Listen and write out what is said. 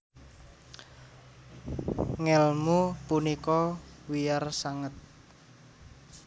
Ngèlmu punika wiyar sanget